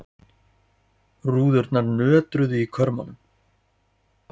Rúðurnar nötruðu í körmunum.